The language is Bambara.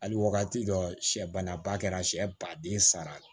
Hali wagati dɔ sɛ ban na ba kɛra sɛ baden sara